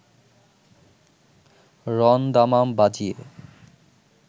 রণ-দামাম বাজিয়ে